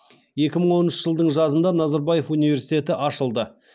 екі мың оныншы жылдың жазында назарбаев университеті ашылды